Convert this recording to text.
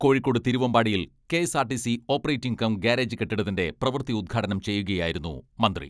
കോഴിക്കോട് തിരുവമ്പാടിയിൽ K S R T C operating cum garage കെട്ടിടത്തിന്റെ പ്രവൃത്തി ഉദ്ഘാടനം ചെയ്യുകയായിരുന്നു മന്ത്രി.